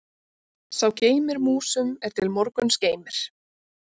Sá geymir músum er til morguns geymir.